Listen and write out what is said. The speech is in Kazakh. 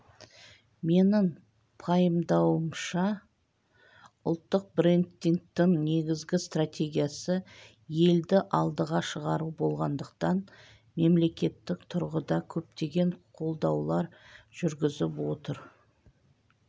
менің пайымдауымша ұлттық брендингтің негізгі стратегиясы елді алдыға шығару болғандықтан мемлекеттік тұрғыда көптеген қолдаулар жүргізіп отыр